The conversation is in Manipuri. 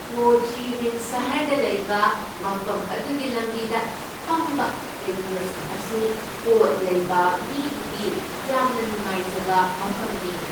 ꯍꯣ ꯆꯤ ꯃꯤꯟ ꯁꯍꯔꯗ ꯂꯩꯕ ꯃꯐꯝ ꯑꯗꯨꯒꯤ ꯂꯝꯕꯤꯗ ꯐꯝꯕ ꯀꯩꯊꯦꯜꯁꯤꯡ ꯑꯁꯤ ꯄꯣꯠ ꯂꯩꯕ ꯃꯤꯒꯤꯗꯤ ꯌꯥꯝꯅ ꯅꯨꯡꯉꯥꯏꯖꯕ ꯃꯐꯝꯅꯤ ꯫